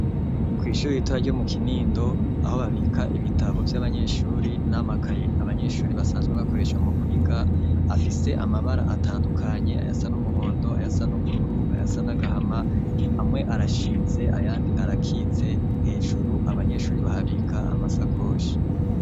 Kw'ishuri ritoya ryo mu Kinindo, aho babika ibitabo vy'abanyeshure n'amakaye abanyeshure basanzwe bakoresha mu kwiga afise amabara atandukanye ayasa n'umuhondo ayasa n'ubururu ayasa n'agahama, amwe arashinze ayandi arakitse hejuru abanyeshuri bahabika amasakoshi.